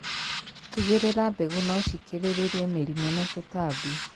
Tigĩrĩra mbegũ no cikirĩrĩrie mĩrimũ na tũtambi.